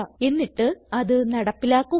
എന്നിട്ട് അത് നടപ്പിലാക്കുക